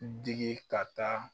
Digi ka taa